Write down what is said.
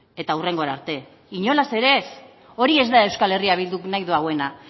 eta hurrengora arte inolaz ere ez hori ez da euskal herria bilduk nahi duena